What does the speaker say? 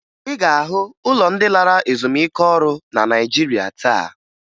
Ị ga-ahụ ụlọ ndị lara ezumike ọrụ na Naịjirịa taa